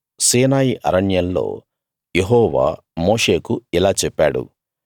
సీనాయి అరణ్యంలో యెహోవా మోషేకు ఇలా చెప్పాడు